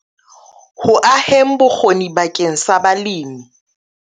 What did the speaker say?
Ho aheng bokgoni bakeng sa balemi.